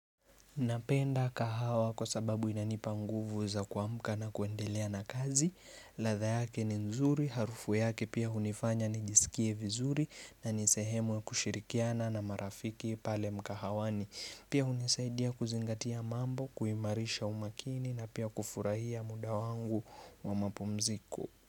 Napenda kahawa kwa sababu inanipa nguvu za kuamka na kuendelea na kazi, ladha yake ni nzuri, harufu yake pia hunifanya nijisikie vizuri nani sehemu ya kushirikiana na marafiki pale mkahawani, pia hunisaidia kuzingatia mambo, kuimarisha umakini na pia kufurahia muda wangu wa mapumziko.